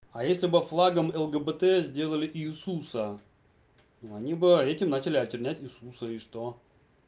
а если бы флагом лгбт сделали иисуса ну они бы этим начали очернять иисуса и что